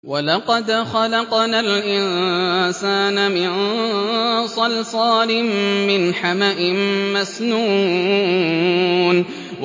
وَلَقَدْ خَلَقْنَا الْإِنسَانَ مِن صَلْصَالٍ مِّنْ حَمَإٍ مَّسْنُونٍ